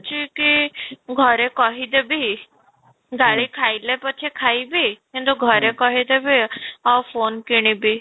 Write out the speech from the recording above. ଛି କି ଘରେ କହିଦେବି ଗାଳି ଖାଇଲେ ପଛେ ଖାଇବି କିନ୍ତୁ ଘରେ କହିଦେବି ଆଉ phone କିଣିବି